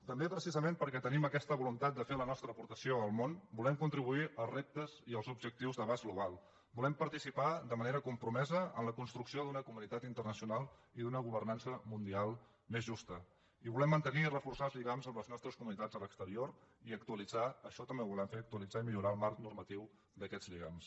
també precisament perquè tenim aquesta voluntat de fer la nostra aportació al món volem contribuir als reptes i als objectius d’abast global volem participar de manera compromesa en la construcció d’una comunitat internacional i d’una governança mundial més justa i volem mantenir i reforçar els lligams amb les nostres comunitats a l’exterior i actualitzar això també ho volem fer actualitzar i millorar el marc normatiu d’aquests lligams